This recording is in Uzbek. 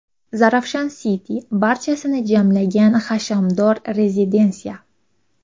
Zarafshan City – barchasini jamlagan hashamdor rezidensiya!.